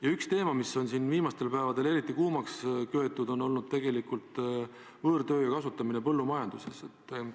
Ja üks teema, mis on viimastel päevadel eriti kuumaks köetud, on võõrtööjõu kasutamine põllumajanduses.